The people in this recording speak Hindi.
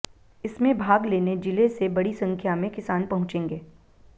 इसमें भाग लेने जिले से बड़ी संख्या में किसान पहुंचेंगे